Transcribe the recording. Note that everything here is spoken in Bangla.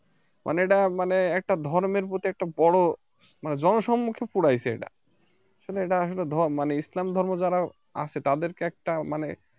মানে এটা মানে একটা ধর্মের প্রতি একটা বড় মানে জন সম্মুখে পোড়াইছে এটা আসলে এটা আসলে ইসলাম ধর্ম যারা আছে তাদেরকে একটা মানে